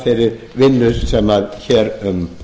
þeirri vinnu sem hér um